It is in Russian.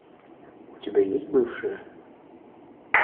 у тебя есть бывшие